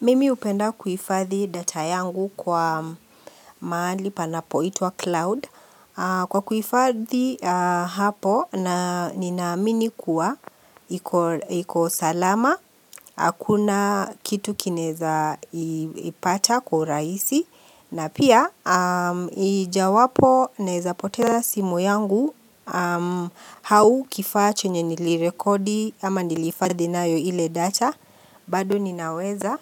Mimi hupenda kuhifadhi data yangu kwa mahali panapoitwa Cloud Kwa kuhifadhi hapo na ninaamini kuwa iko salama, hakuna kitu kinezaipacha kwa urahisi na pia ijawapo naeza poteza simu yangu au kifaa chenye nilirekodi ama nilihifadhi nayo ile data bado ninaweza